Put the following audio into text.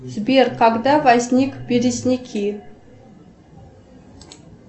сбер когда возник березники